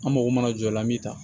An mako mana jɔ a la min ta